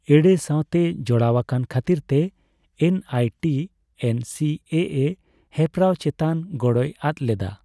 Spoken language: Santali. ᱮᱲᱮ ᱥᱟᱣᱛᱮ ᱡᱚᱲᱟᱣ ᱟᱠᱟᱱ ᱠᱷᱟᱹᱛᱤᱨ ᱛᱮ ᱮᱱᱟᱭᱴᱤ ᱮᱱᱥᱤᱮᱮ ᱦᱮᱯᱨᱟᱣ ᱪᱮᱛᱟᱱ ᱜᱚᱲᱚᱭ ᱟᱫ ᱞᱮᱫᱟ ᱾